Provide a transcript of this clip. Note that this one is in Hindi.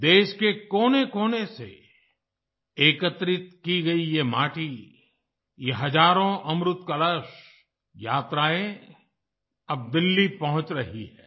देश के कोनेकोने से एकत्रित की गयी ये माटी ये हजारों अमृत कलश यात्राएं अब दिल्ली पहुँच रही हैं